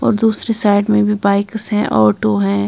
और दूसरी साइड में भी बाइक्स है ऑटो हैं।